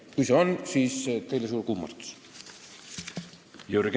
Kui siin on aps, siis suur kummardus teile!